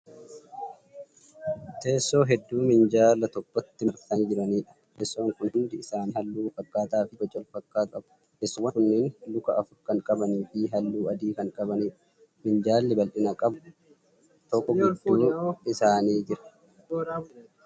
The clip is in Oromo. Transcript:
Teessoo hedduu minjaala tokkotti marsanii jiraniidha. teessoon Kuni hundi isaan halluu walfakkaataa Fi bocha walfakkaataa qabu. Teessoowwan kunniin luka afur Kan qabaniifi halluu adii kan qabaniidha. Minjaalli bal'ina qabu tokko gidduu isaanii Jira.